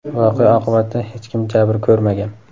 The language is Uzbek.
Voqea oqibatida hech kim jabr ko‘rmagan.